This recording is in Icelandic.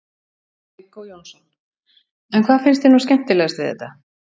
Viggó Jónsson: En hvað finnst þér nú skemmtilegast við þetta?